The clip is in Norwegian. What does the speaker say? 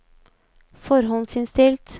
forhåndsinnstilt